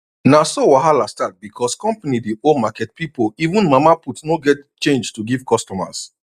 na so wahala start because company dey owe market people even mama put no get change to give customers